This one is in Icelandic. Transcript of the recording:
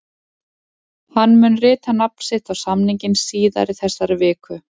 Hann mun rita nafn sitt á samninginn síðar í þessari viku.